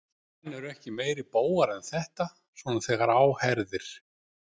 Menn eru ekki meiri bógar en þetta, svona þegar á herðir.